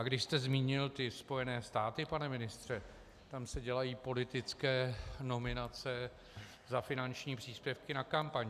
A když jste zmínil ty Spojené státy, pane ministře, tam se dělají politické nominace za finanční příspěvky na kampaň.